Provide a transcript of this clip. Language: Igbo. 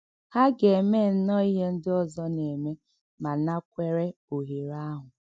Hà gà-èmè nnọọ̀ íhè ǹdí ọ̀zò nà-èmè mà nàkwèrè òhèrè àhụ̀?